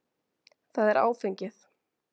Það er áfengið.